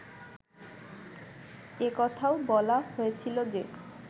এ কথাও বলা হয়েছিল যে